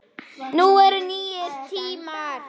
Nú eru nýir tímar.